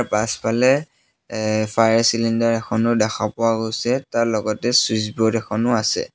পাছফালে এ fire cylinder এখনো দেখা পোৱা গৈছে তাৰ লগতে চুইচব'ৰ্ড এখনো আছে।